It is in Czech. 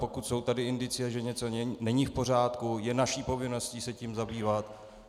Pokud jsou tady indicie, že něco není v pořádku, je naší povinností se tím zabývat.